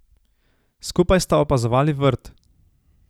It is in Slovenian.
Skupaj sta opazovali vrt.